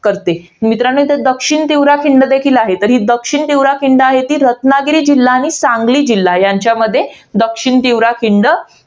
करते. मित्रांनो इथे दक्षिणतीव्रा खिंड देखील आहे. तर ही दक्षिणतीव्रा खिंड रत्नागिरी जिल्हा आणि सांगली जिल्हा यांच्यामध्ये दक्षिणतीव्रा खिंड